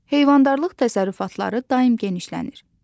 Heyvandarlıq təsərrüfatları daim genişlənir.